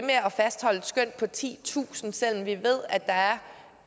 at fastholde et skøn på titusind selv om vi ved at der er